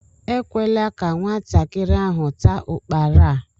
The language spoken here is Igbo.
Ekwela ka nwatakịrị ahụ taa ukpara a!